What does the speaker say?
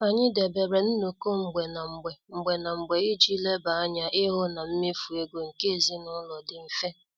Anyị debere nnoko mgbe na mgbe mgbe na mgbe iji leba anya ịhụ na mmefu ego nke ezinụlọ dị mfe.